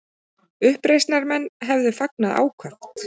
Uppreisnarmenn hefðu fagnað ákaft